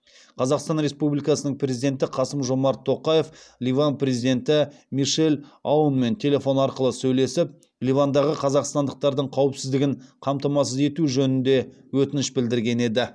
қазақстан республикасының президенті қасым жомарт тоқаев ливан президенті мишель аунмен телефон арқылы сөйлесіп ливандағы қазақстандықтардың қауіпсіздігін қамтамасыз ету жөнінде өтініш білдірген еді